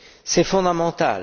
C'est fondamental.